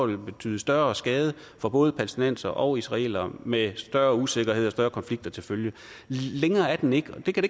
ville betyde større skade for både palæstinensere og israelere med større usikkerhed og med større konflikter til følge længere er den ikke og det kan